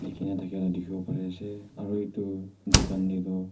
Leakhey na thakya la dekhevo parey ase aro etu dukhan dae tuh--